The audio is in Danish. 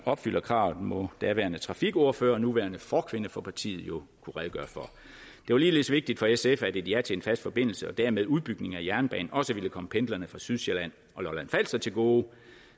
opfylder kravet må daværende trafikordfører og nuværende forkvinde for partiet jo kunne redegøre for det var ligeledes vigtigt for sf at et ja til en fast forbindelse og dermed en udbygning af jernbanen også ville komme pendlerne fra sydsjælland og lolland falster til gode